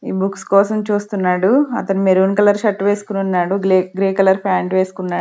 ఈ బుక్స్ కోసం చూస్తున్నాడు అతను మెరూన్ కలర్ షర్ట్ వేసుకొని ఉన్నాడు గ్రీ కలర్ పాంట్ వేసుకున్నా--